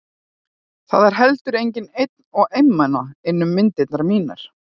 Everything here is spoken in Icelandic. Það er heldur enginn einn og einmana innan um myndirnar mínar.